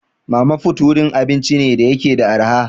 Mama put wurin abinci ne da yake da arha.